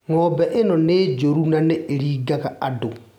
Ng'ombe ĩyo nĩ njũru na ni ĩringaga andũ.